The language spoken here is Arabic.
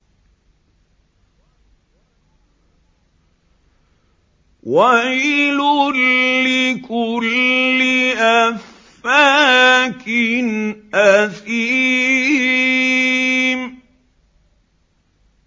وَيْلٌ لِّكُلِّ أَفَّاكٍ أَثِيمٍ